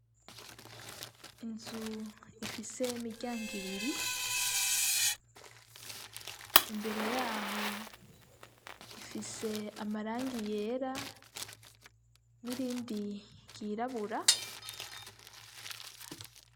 Inzu ifise imiryango ibiri, imbere y'aho ifise amarangi yera n'irindi ryirabura.